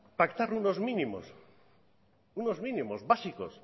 pactar unos mínimos básicos